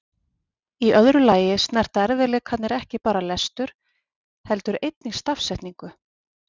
Í öðru lagi snerta erfiðleikarnir ekki bara lestur heldur einnig stafsetningu.